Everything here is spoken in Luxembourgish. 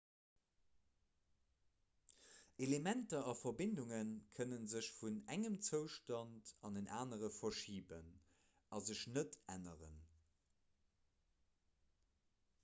elementer a verbindunge kënne sech vun engem zoustand an en anere verschiben a sech net änneren